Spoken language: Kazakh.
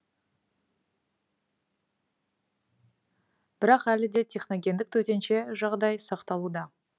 бірақ әлі де техногендік төтенше жағдай сақталуда